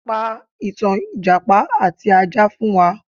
Pa ìtàn ìjàpá àti ajá fún wa